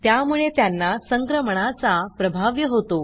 त्यामुळे त्यांना संक्रमणाचा प्रभाव्य होतो